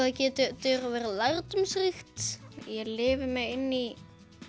það getur verið lærdómsríkt ég lifi mig inn í